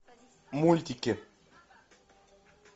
мультики